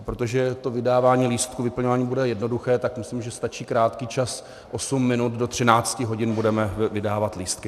A protože to vydávání lístků, vyplňování bude jednoduché, tak myslím, že stačí krátký čas, osm minut, do 13 hodin budeme vydávat lístky.